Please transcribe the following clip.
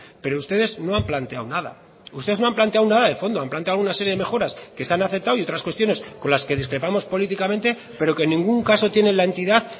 pero ustedes no han planteado nada ustedes no han planteado nada de fondo han planteado una serie de mejoras que se han aceptado y otras cuestiones con las que discrepamos políticamente pero que en ningún caso tiene la entidad